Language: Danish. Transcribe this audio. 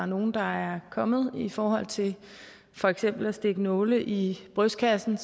nogle der er kommet i forhold til for eksempel at stikke nåle i brystkassen